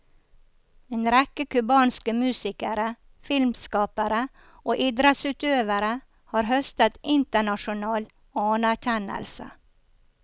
En rekke kubanske musikere, filmskapere og idrettsutøvere har høstet internasjonal anerkjennelse.